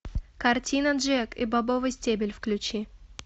картина джек и бобовый стебель включи